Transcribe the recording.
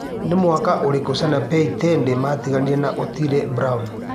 Nĩ mwaka ũrikũ Sanapei Tande matiganire na Otile brown